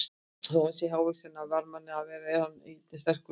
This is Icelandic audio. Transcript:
Þó hann sé ekki hávaxinn af varnarmanni að vera er hann einnig sterkur í loftinu.